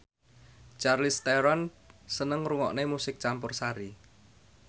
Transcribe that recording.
Charlize Theron seneng ngrungokne musik campursari